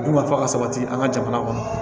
Dunkafa ka sabati an ka jamana kɔnɔ